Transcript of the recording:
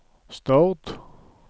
Stord